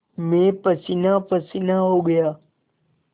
मैं पसीनापसीना हो गया